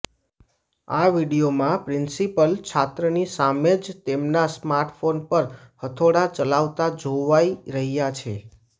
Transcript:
આ વીડિયોમાં પ્રિંસિપલ છાત્રની સામે જ તેમના સ્માર્ટફોન પર હથોડા ચલાવતા જોવાઈ રહ્યા છે